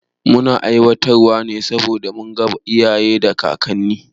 Muna aiwatar wa ne saboda mun gada iyaye da kakanni